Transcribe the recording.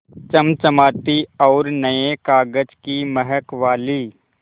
चमचमाती और नये कागज़ की महक वाली